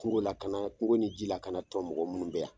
Kungo lakana kungo ni ji lakana tɔn mɔgɔ minnu bɛ yan.